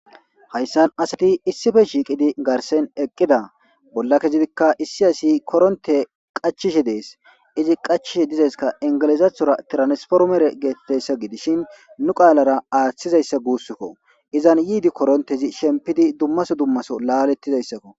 hayssan asati issife shiiqidi garsen eqqida bolla kezidikka issi asi koronte qachishi dees izi qachishi dizayska ingilizathora tiransformere geettessa gidishin nu qaalara aaththizayssa guusskko izan yiidi korontezi shempidi dummaso dummaso laalettizayssakko